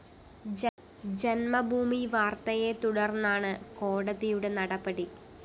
ജന്മഭൂമി വാര്‍ത്തയെ തുടര്‍ന്നാണ് കോടതിയുടെ നടപടി